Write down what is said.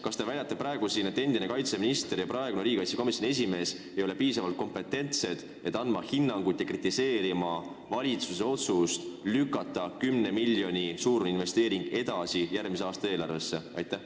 Kas te väidate praegu siin, et endine kaitseminister ja praegune riigikaitsekomisjoni esimees ei ole piisavalt kompetentsed, et anda hinnangut ja kritiseerida valitsuse otsust lükata 10 miljoni suurinvesteering edasi järgmise aasta eelarvesse?